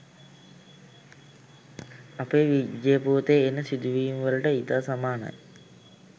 අපේ විජය පුවතේ එන සිදුවීම්වලට ඉතා සමානයි